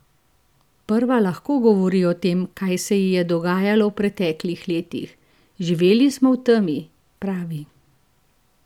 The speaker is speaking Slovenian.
Prva lahko govori o tem, kaj se ji je dogajalo v preteklih letih: "Živeli smo v temi," pravi.